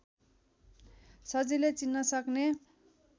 सजिलै चिन्न सक्ने